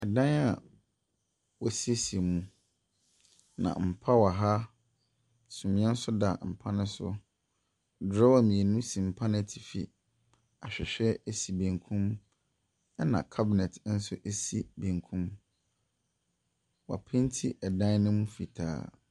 Ɛdan a wɔsiesie mu na mpa wo ha, sumiɛ nso da mpa no so. Drawer mmienu si mpa n'atifin. Ahwɛhwɛ esi benkum ɛna cabinet nso esi benkum. Woa painti ɛdan no mu fitaa.